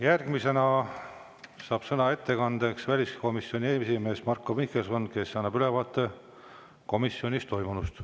Järgmisena saab ettekandeks sõna väliskomisjoni esimees Marko Mihkelson, kes annab ülevaate komisjonis toimunust.